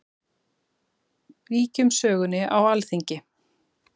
Víkjum sögunni á Alþingi.